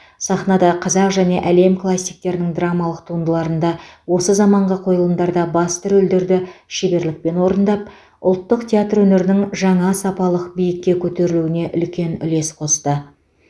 сахнада қазақ және әлем классиктерінің драмалық туындыларында осы заманғы қойылымдарда басты рөлдерді шеберлікпен орындап ұлттық театр өнерінің жаңа сапалық биікке көтерілуіне үлкен үлес қосты